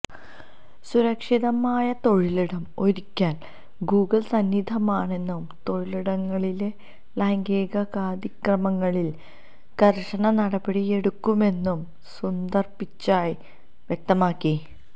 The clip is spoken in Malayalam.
സുരക്ഷിതമായ തൊഴിലിടം ഒരുക്കാൻ ഗൂഗിൾ സന്നദ്ധമാണെന്നും തൊഴിലിടങ്ങളിലെ ലൈംഗികാതിക്രമങ്ങളിൽ കർശന നടപടിയെടുക്കുമെന്നും സൂന്ദർ പിച്ചായ് വ്യക്തമാക്കി